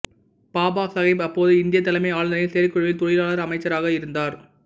பாபாசாகேப் அப்போது இந்தியத் தலைமை ஆளுநரின் செயற்குழுவில் தொழிலாளர் அமைச்சராக இருந்தார்